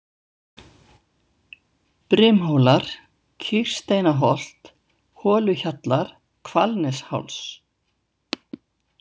Brimhólar, Kýrsteinaholt, Holuhjallar, Hvalnesháls